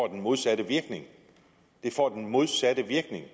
den modsatte virkning det får den modsatte virkning